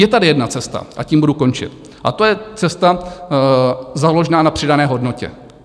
Je tady jedna cesta, a tím budu končit, a to je cesta založená na přidané hodnotě.